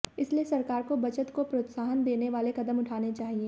इसलिए सरकार को बचत को प्रोत्साहन देने वाले कदम उठाने चाहिए